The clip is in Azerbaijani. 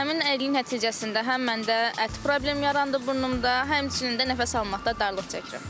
Həmin əyriliyin nəticəsində həm məndə ət problemi yarandı burnumda, həmçinin də nəfəs almaqda darlıq çəkirəm.